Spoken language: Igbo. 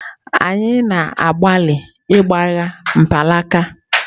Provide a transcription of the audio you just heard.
Anyị na-agbalị ịgbagha mkpanaka.